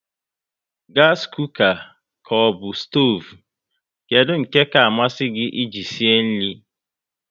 Gasi kuka ka ọbụ stoovu, kedụ nke ka amasị gị e ji sie nri?